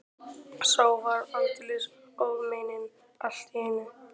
Sá var aldeilis ófeiminn allt í einu!